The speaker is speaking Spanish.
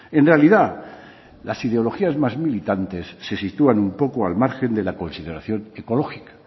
en realidad las ideologías más militantes se sitúan un poco al margen de la consideración ecológica